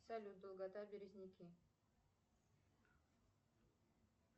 салют долгота березники